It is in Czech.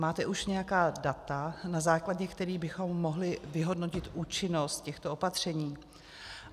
Máte už nějaká data, na základě kterých bychom mohli vyhodnotit účinnost těchto opatření?